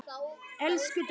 Elsku Dolla.